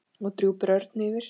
og drúpir örn yfir.